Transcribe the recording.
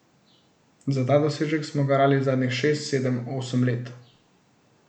Za ta dosežek smo garali zadnjih šest, sedem, osem let.